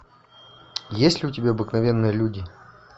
есть ли у тебя обыкновенные люди